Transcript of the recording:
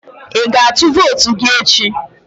Ị ga-atụ vootu gị echi?